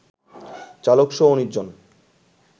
চালকসহ ১৯ জন